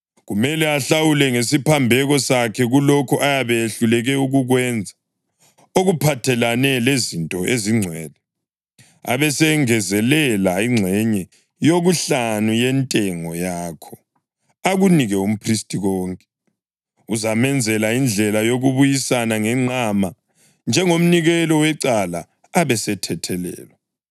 Kumele ahlawule ngesiphambeko sakhe kulokho ayabe ehluleke ukukwenza, okuphathelane lezinto ezingcwele, abesesengezelela ingxenye yokuhlanu yentengo yakho akunike umphristi konke, ozamenzela indlela yokubuyisana ngenqama njengomnikelo wecala, abesethethelelwa.